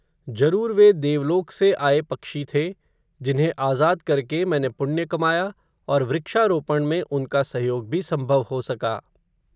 जरूर वे देवलोक से आये पक्षी थे, जिन्हें आजाद करके, मैंने पुण्य कमाया, और वृक्षारोपण में उनका, सहयोग भी संभव हो सका